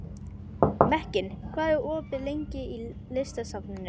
Mekkin, hvað er opið lengi í Listasafninu?